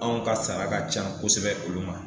Anw ka sara ka ca kosɛbɛ olu ma